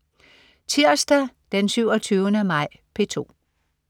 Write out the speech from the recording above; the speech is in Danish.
Tirsdag den 27. maj - P2: